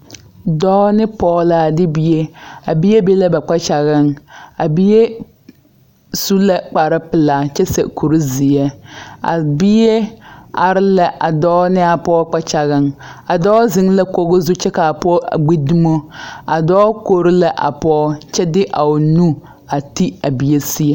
Dɔɔ ne pɔɔ la a de bie a bie be la ba kpakyagaŋ a bie su la kpare pelaa kyɛ seɛ kurezeɛ a bie are la a dɔɔ ne a pɔɔ kpakyagaŋ a dɔɔ zeŋ la kogo zu kyɛ ka a pɔɔ a gbi dumo a dɔɔ kori la a pɔɔ a de a o nu a ti a bie seɛ.